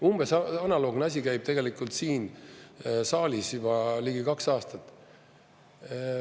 Umbes analoogne asi käib tegelikult siin saalis juba ligi kaks aastat.